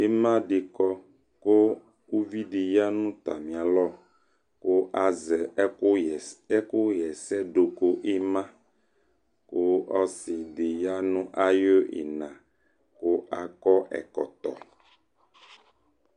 ɩnadɩkɔ kʊ ʊvɩdɩ yanʊ atamɩ alɔ kʊazɛ ɛkʊ yɛsɛ nɩna kʊ ɔsɩdɩ wanʊ awʊ ina kʊ akɔ ɛkɔtɔ